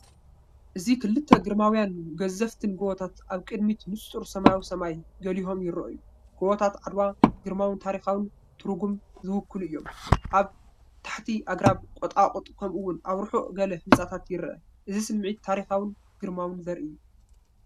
እዚ ክልተ ግርማውያንን ገዘፍትን ጎበታት ኣብ ቅድሚ ንጹር ሰማያዊ ሰማይ ጎሊሆም ይረኣዩ። ጎበታት ዓድዋ ግርማውን ታሪኻውን ትርጉም ዝውክሉ እዮም። ኣብ ታሕቲ ኣግራብን ቁጥቋጥን ከምኡ’ውን ኣብ ርሑቕ ገለ ህንጻታት ይርአ። እቲ ስምዒት ታሪኻውን ግርማውን ዘርኢ እዩ።